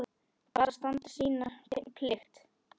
Bara standa sína plikt.